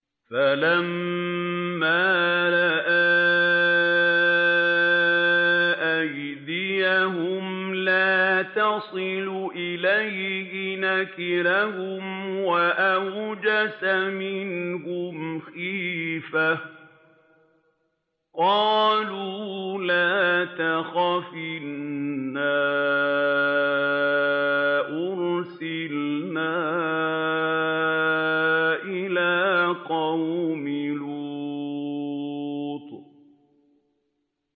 فَلَمَّا رَأَىٰ أَيْدِيَهُمْ لَا تَصِلُ إِلَيْهِ نَكِرَهُمْ وَأَوْجَسَ مِنْهُمْ خِيفَةً ۚ قَالُوا لَا تَخَفْ إِنَّا أُرْسِلْنَا إِلَىٰ قَوْمِ لُوطٍ